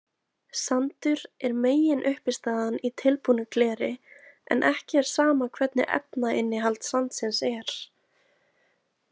Sandur er meginuppistaðan í tilbúnu gleri en ekki er sama hvernig efnainnihald sandsins er.